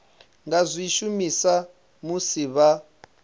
nga zwi shumisa musi vha